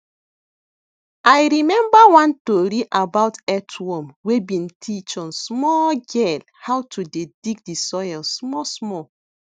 i remember one tori about earthworm wey been teach on small girl how to dey dig de soil small small